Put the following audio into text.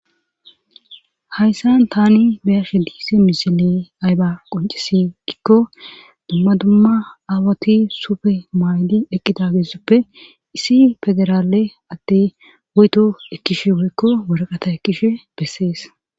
Hayssan tani beyashshe diise misile ayba qoncisi gikko dumma dumma aawati sufe mayli eqqida geessoppe issi federaale adey woytto ekkishshe woykko waraqata ekkishshe bessees